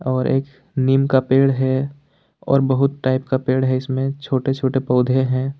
और एक नीम का पेड़ है और बहुत टाइप का पेड़ है इसमें छोटे छोटे पौधे हैं।